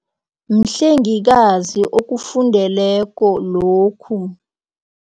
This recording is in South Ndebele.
Mhlengikazi okufundeleko lokhu.